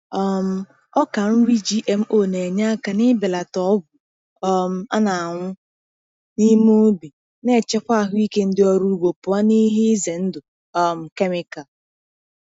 um Ọka nri GMO na-enye aka n'ibelata ogwu um a na-awụ n’ime ubi, na-echekwa ahụike ndị ọrụ ugbo pụọ n’ihe ize ndụ um kemikal.